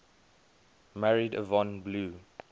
married yvonne blue